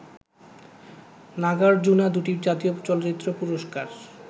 নাগার্জুনা দুটি জাতীয় চলচ্চিত্র পুরস্কার